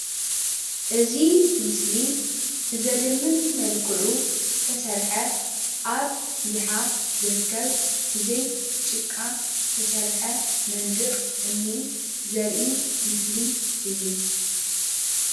እዚ ምሰሊ ብዘድምም መልክዑ ዝተሰርሐ ኣብ ይሓ ዝርከብ ብዘይ ጭቃ ዝተሰርሐ መንድቕ እምኒ ዘርኢ ምስሊ እዩ፡፡